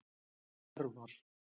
Hervar